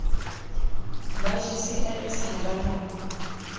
ba gcis ha ba na